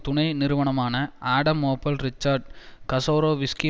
துணை நிறுவனமான Adam Opel Richard கசோரோவிஸ்கி